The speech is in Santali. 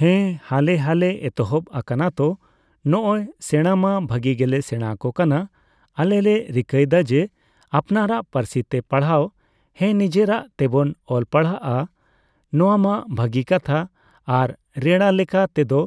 ᱦᱮᱸ ᱦᱟᱞᱮ ᱦᱟᱞᱮ ᱮᱛᱚᱦᱚᱵ ᱟᱠᱟᱱᱟ ᱛᱳ ᱱᱚᱜᱼᱚᱭ ᱥᱮᱸᱲᱟ ᱢᱟ ᱵᱷᱟᱜᱤ ᱜᱮᱞᱮ ᱥᱮᱲᱟ ᱟᱠᱚ ᱠᱟᱱᱟ ᱟᱞᱮ ᱞᱮ ᱨᱤᱠᱟᱹᱭᱮᱫᱟ ᱡᱮ ᱟᱯᱱᱟᱨᱟᱜ ᱯᱟᱨᱥᱤᱛᱮ ᱯᱟᱲᱦᱟᱣ ᱦᱮᱸ ᱱᱤᱡᱮᱨᱟᱜ ᱛᱮᱵᱚᱱ ᱚᱞ ᱯᱟᱲᱦᱟᱜᱼᱟ ᱱᱚᱣᱟᱢᱟ ᱵᱷᱟᱹᱜᱤ ᱠᱟᱛᱷᱟ ᱟᱨ ᱨᱮᱲᱟ ᱞᱮᱠᱟ ᱛᱮᱫᱚ